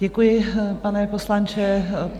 Děkuji, pane poslanče.